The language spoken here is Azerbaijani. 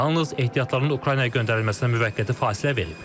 Yalnız ehtiyatlarını Ukraynaya göndərilməsinə müvəqqəti fasilə verib.